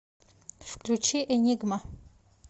включи энигма